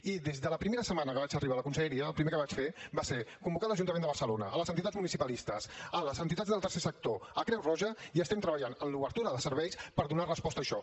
i des de la primera setmana que vaig arribar a la conselleria el primer que vaig fer va ser convocar l’ajuntament de barcelona les entitats municipalistes les entitats del tercer sector creu roja i estem treballant en l’obertura de serveis per donar resposta a això